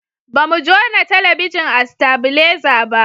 ba mu jona talabijin a stabileza ba